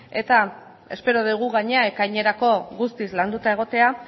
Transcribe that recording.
eta espero dugu gainera ekainerako guztiz galduta egotea